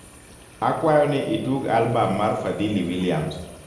akwayo ni itug albam mar fadhili williams